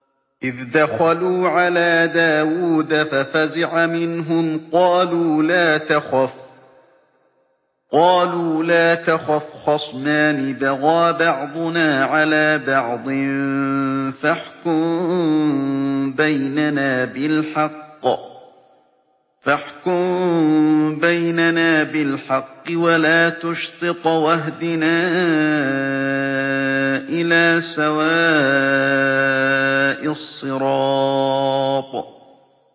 إِذْ دَخَلُوا عَلَىٰ دَاوُودَ فَفَزِعَ مِنْهُمْ ۖ قَالُوا لَا تَخَفْ ۖ خَصْمَانِ بَغَىٰ بَعْضُنَا عَلَىٰ بَعْضٍ فَاحْكُم بَيْنَنَا بِالْحَقِّ وَلَا تُشْطِطْ وَاهْدِنَا إِلَىٰ سَوَاءِ الصِّرَاطِ